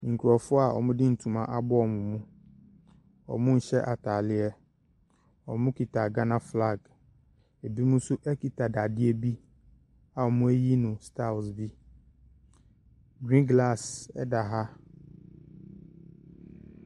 Nkurɔfoɔ a wɔde ntoma abɔ wɔn mu, wɔnhyɛ ataadeɛ, wɔkita Ghana flag, bi nso kita dadeɛ bi a wɔayiyi no styles bi. Green glass da ha.